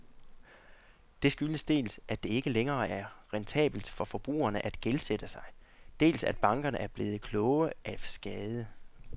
Det skyldes dels, at det ikke længere er rentabelt for forbrugerne at gældsætte sig, dels at bankerne blevet kloge af skade.